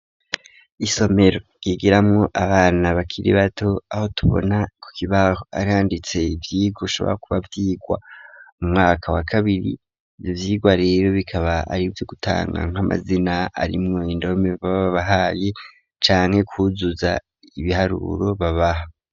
Isomero ryigiramwo abana bakiri bato aho tubona ku kibaho aranditse ivyigwa ushobra kuba vyigwa mu mwaka wa kabiri nivyigwa rero bikaba arivyo gutanga nk'amazina arimwo indome baba bahaye canke kuzuza ibiharuro babaha.